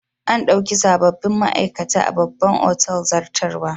An dauki sabobbin ma'aikata a babban otal zartarwa.